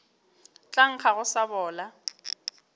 tla nkga go sa bola